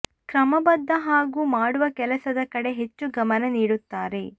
ಕ್ರಮ ಬದ್ಧ ಹಾಗೂ ಮಾಡುವ ಕೆಲಸದ ಕಡೆ ಹೆಚ್ಚು ಗಮನ ನೀಡುತ್ತಾರೆ